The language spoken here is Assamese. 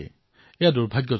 এয়া দুৰ্ভাগ্যজনক কথা